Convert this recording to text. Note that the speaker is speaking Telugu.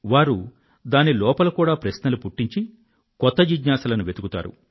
వారు దాని లోపల కూడా ప్రశ్నలు పుట్టించి కొత్త జిజ్ఞాసలను వెతుకుతారు